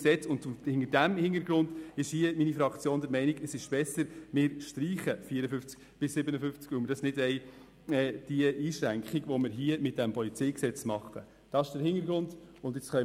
Vor diesem Hintergrund ist die SP-JUSO-PSA Fraktion der Meinung, dass es besser ist, die Artikel 54 bis 57 zu streichen, weil wir diese Einschränkung nicht wollen.